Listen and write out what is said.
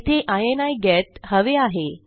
येथे इनी गेट हवे आहे